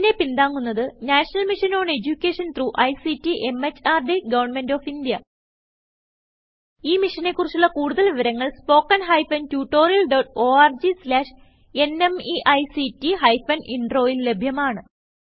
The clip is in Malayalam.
ഇതിനെ പിന്താങ്ങുന്നത് national mission on education through ICT MHRD government of India ഈ മിഷനെ കുറിച്ചുള്ള കുടുതൽ വിവരങ്ങൾ spoken hyphen tutorial dot org slash NMEICT hyphen Introൽ ലഭ്യമാണ്